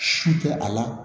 Su tɛ a la